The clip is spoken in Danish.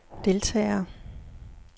deltagere